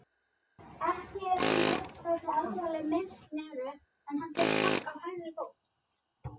Ekki er enn ljóst hversu alvarleg meiðslin eru en hann fékk högg á hægri fót.